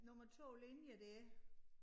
Nummer 2 linje dér